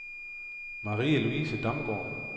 Marie-Louise Damsgaard